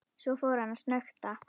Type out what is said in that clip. Svo fór hann að snökta.